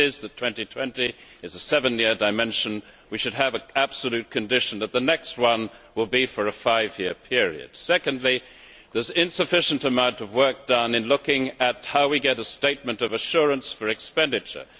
If it is the case that 2020 is a seven year dimension, we should have an absolute condition that the next one will be for a five year period. Secondly, there is insufficient work done on looking at how we get a statement of assurance for expenditure.